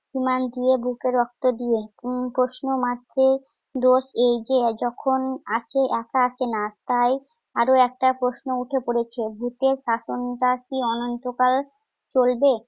ঈমান দিয়ে, বুকের রক্ত দিয়ে। প্রশ্নমাত্র দোষ এই যে যখন আসে একা আসে না। তাই আরো একটা প্রশ্ন উঠে পড়েছে। ভূতের শাসনটা কি অনন্তকাল চলবে?